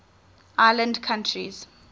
island countries